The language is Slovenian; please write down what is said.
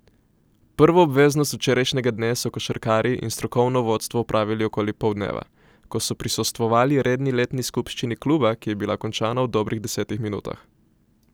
Prvo obveznost včerajšnjega dne so košarkarji in strokovno vodstvo opravili okoli poldneva, ko so prisostvovali redni letni skupščini kluba, ki je bila končana v dobrih desetih minutah.